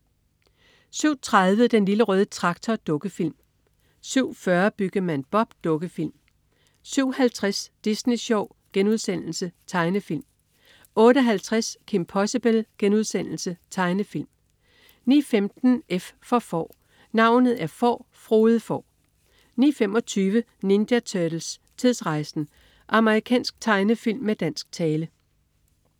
07.30 Den Lille Røde Traktor. Dukkefilm 07.40 Byggemand Bob. Dukkefilm 07.50 Disney Sjov.* Tegnefilm 08.50 Kim Possible.* Tegnefilm 09.15 F for Får. Navnet er Får, Frode Får 09.25 Ninja Turtles: Tidsrejsen! Amerikansk tegnefilm med dansk tale